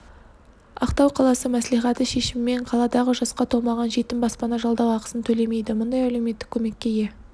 ақтау қаласы мәслихаты шешімімен қаладағы жасқа толмаған жетім баспана жалдау ақысын төлемейді мұндай әлеуметтік көмекке ие